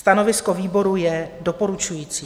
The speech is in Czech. Stanovisko výboru je doporučující.